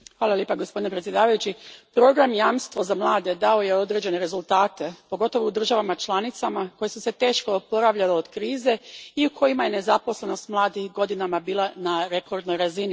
Gospodine predsjedniče, program Jamstvo za mlade dao je određene rezultate, pogotovo u državama članicama koje su se teško oporavljale od krize i u kojima je nezaposlenost mladih godinama bila na rekordnoj razini.